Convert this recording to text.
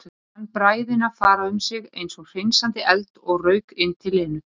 Fann bræðina fara um sig eins og hreinsandi eld og rauk inn til Lenu.